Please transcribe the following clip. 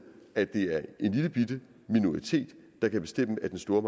at det er en lillebitte minoritet der kan bestemme at den store